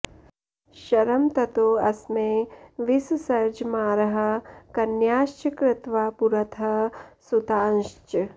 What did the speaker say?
शरं ततोऽस्मै विससर्ज मारः कन्याश्च कृत्वा पुरतः सुतांश्च